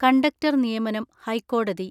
conductor നിയമനം ഹൈക്കോടതി